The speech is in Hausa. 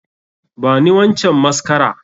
Bani wancan mascara!